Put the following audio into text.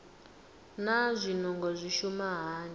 naa zwinungo zwi shuma hani